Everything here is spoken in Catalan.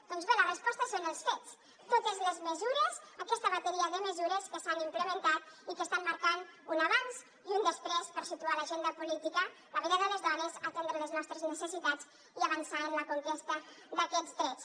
doncs bé la resposta són els fets totes les mesures aquesta bateria de mesures que s’han implementat i que estan marcant un abans i un després per situar a l’agenda política la vida de les dones atendre les nostres necessitats i avançar en la conquesta d’aquests drets